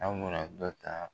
An kun mina dɔ ta